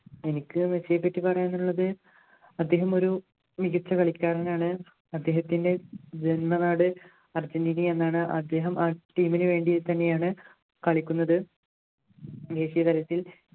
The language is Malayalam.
എനിക്ക് മെസ്സിയെപ്പറ്റി പറയാനുള്ളത് അദ്ദേഹം ഒരു മികച്ച കളിക്കാരനാണ് അദ്ദേഹത്തിൻ്റെ ജന്മനാട് അർജൻറ്റീന എന്നാണ് അദ്ദേഹം ആ team നു വേണ്ടി തന്നെയാണ് കളിക്കുന്നത് ദേശീയതലത്തിൽ